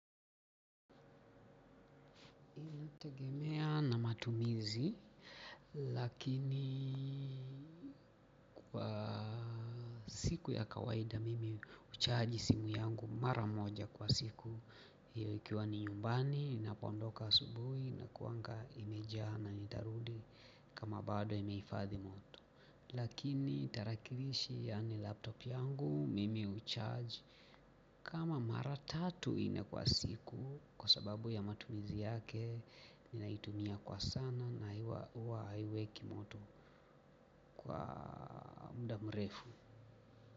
Inategemea na matumizi lakini kwa siku ya kawaida mimi hucharge simu yangu mara moja kwa siku. Hiyo ikiwa ni nyumbani ninapoondoka asubuhi inakuaga imejaa na nitarudi kama bado imehifadhi moto. Lakini tarakirishi yani laptop yangu mimi hucharge kama mara tatu nne kwa siku kwasababu ya matumizi yake ninaitumia kwa sana na huwa haiweki imoto kwa muda mrefu.